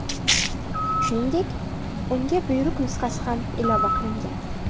Shuningdek, unga buyruq nusxasi ham ilova qilingan.